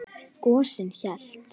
Gosinn hélt.